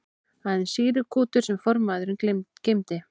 Aðeins sýrukútur sem formaðurinn geymdi.